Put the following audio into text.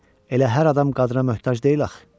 Elə hər adam qadına möhtac deyil axı.